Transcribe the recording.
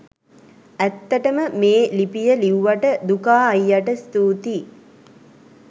ඇත්තටම මේ ලිපිය ලිව්වට දුකා අයියට ස්තූතියි